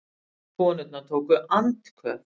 Konurnar tóku andköf